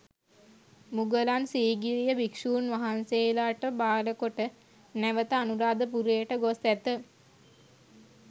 මුගලන් සීගිරිය භික්ෂූන් වහන්සේලාට භාරකොට නැවත අනුරාධපුරයට ගොස් ඇත.